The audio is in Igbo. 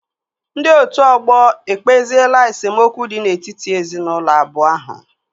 Ndị otu ọgbọ ekpeziela esemokwu dị n'etiti ezinaụlọ abụọ ahụ